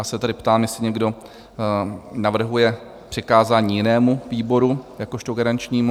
Já se tedy ptám, jestli někdo navrhuje přikázání jinému výboru jakožto garančnímu?